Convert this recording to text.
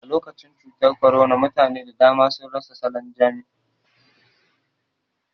Alokacin cutar korona mutane da dama sun rasa salan jam'i